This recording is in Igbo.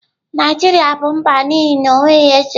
Naijiria bụ mba n'ihi na o nweghị eze.